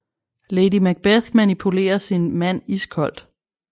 Lady Macbeth manipulerer sin mand iskoldt